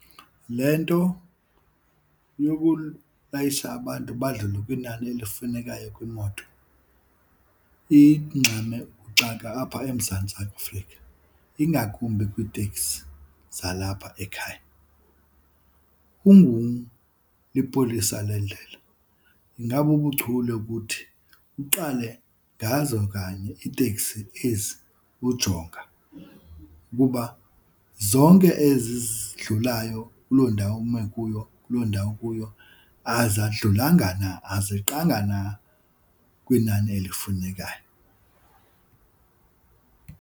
Le nto yokulayisha abantu badlule kwinani elifunekayo kwimoto ingxame ukuxaka apha eMzantsi Afrika, ingakumbi kwiitekisi zalapha ekhaya. lipolisa lendlela ingabubuchule ukuthi uqale ngazo kanye iitekisi ezi ujonga ukuba zonke ezi zidlulayo kuloo ndawo ume kuyo kuloo ndawo ukuyo azadlulanga na azeqanga na kwinani elifunekayo.